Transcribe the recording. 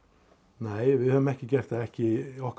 nei við höfum ekki gert það ekki í okkar